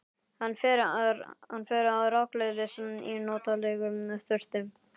Hann fer rakleiðis í notalega sturtu.